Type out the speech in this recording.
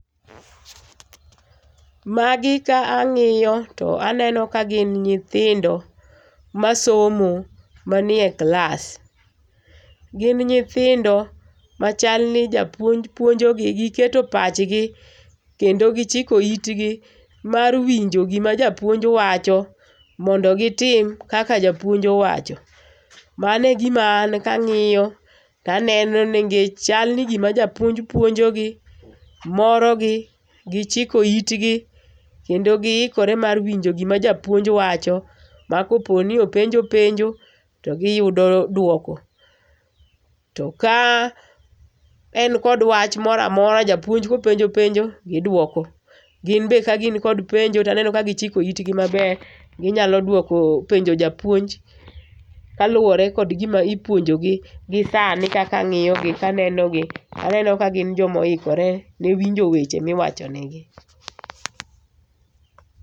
Magi ka ang'iyo to aneno ka gin nyithindo masomo manie klas. Gin nyithindo machal ni japuonj puonjogi, giketo pachgi kendo gichiko itgi mar winjo gima japuonj wacho mondo gitim kaka japuonj owacho. Mano e gima an kang'iyo to aneno ni chal gima japuonj japuonjogi morogi gichiko itgi kendo giikore mar winjo gima japuonj wacho ma kopo ni openjo penjo to giyudo duoko. To ka en kod wach moro amora japuonj kopenjo penjo, giduoko. Gin be kagin kod penjo to aneno ka gichiko itgi maber ginyalo duoko penjo japuonj kaluwore kod gima ipuonjogi gisani kaka ang'iyo gi kaneno ka gin joma noikore ni winjo weche ma iwacho negi